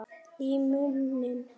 Í munni